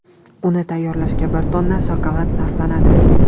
Uni tayyorlashga bir tonna shokolad sarflanadi.